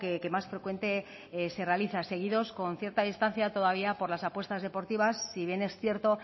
que más frecuente se realiza seguidos con cierta distancia todavía por la apuestas deportivas si bien es cierto